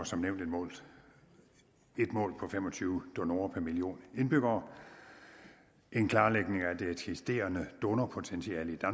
som nævnt et mål på fem og tyve donorer per million indbyggere en klarlægning af det eksisterende donorpotentiale i